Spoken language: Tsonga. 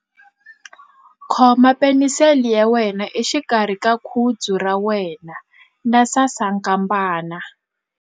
Khoma penisele ya wena exikarhi ka khudzu ra wena na sasankambana.